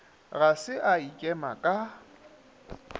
ga se a ikema ka